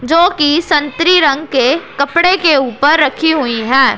जो की संतरी रंग के कपड़े के ऊपर रखी हुईं हैं।